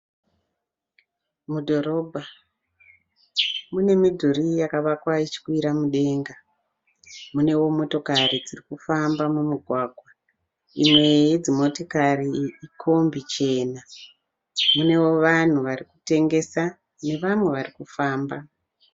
Mudhorobha mune midhuri yakavakwa ichikwira mudenga. Munewo motokari dzirikufamba mumugwagwa. Imwe yedzimotokati kombi chena, munewo vanhu varikutengesa nevamwe varikufamba.